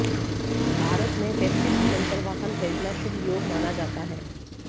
भरत में festive season पर वाहन खरीदना शुभ योग माना जाता है